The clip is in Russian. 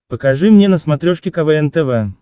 покажи мне на смотрешке квн тв